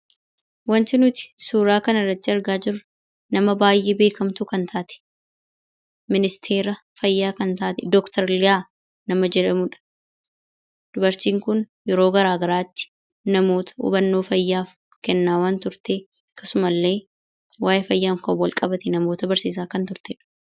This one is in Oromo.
Wanti nuti suuraa kana irratti argaa jirru nama baay'ee beekamtuu kan taate ministeera fayyaa kan taate, Dr Liyaa nama jedhamu dha. Dubartiin kun yeroo garaagaraatti namoota hubannoo fayyaaf kennaa waan turte akkasuma illee waayee fayyaan kan wal qabate namoota barsiisaa kan turte dha.